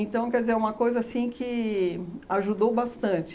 quer dizer, é uma coisa assim que ajudou bastante.